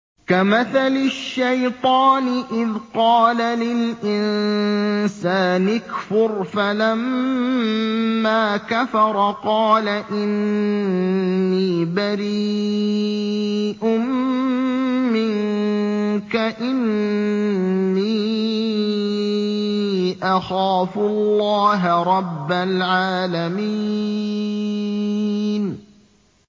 كَمَثَلِ الشَّيْطَانِ إِذْ قَالَ لِلْإِنسَانِ اكْفُرْ فَلَمَّا كَفَرَ قَالَ إِنِّي بَرِيءٌ مِّنكَ إِنِّي أَخَافُ اللَّهَ رَبَّ الْعَالَمِينَ